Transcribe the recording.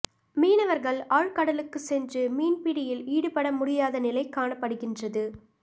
மீனவர்கள் ஆழ்கடலுக்குச் சென்று மீன்பிடியில் ஈடுபட முடியாத நிலை காணப்படுகின்றது